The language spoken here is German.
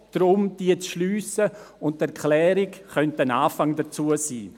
Es geht darum, diese Lücke zu schliessen, und die Erklärung könnte ein Anfang sein.